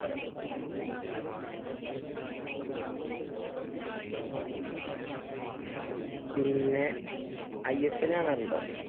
പിന്നെ I S L കാണാറുണ്ടോ?